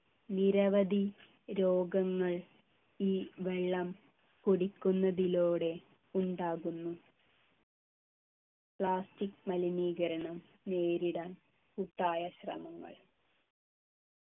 നിരവധി രോഗങ്ങൾ ഈ വെള്ളം കുടിക്കുന്നതിലൂടെ ഉണ്ടാകുന്നു plastic മലിനീകരണം നേരിടാൻ കൂട്ടായ ശ്രമങ്ങൾ